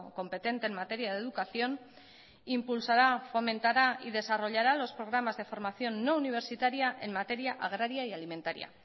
competente en materia de educación impulsará fomentará y desarrollará los programas de formación no universitaria en materia agraria y alimentaria